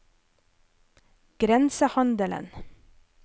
grensehandelen